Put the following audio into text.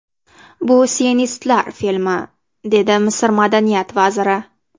Bu sionistlar filmi”, dedi Misr madaniyat vaziri.